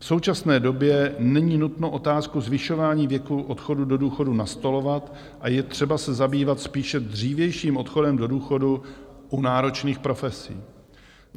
V současné době není nutno otázku zvyšování věku odchodu do důchodu nastolovat a je třeba se zabývat spíše dřívějším odchodem do důchodu u náročných profesí.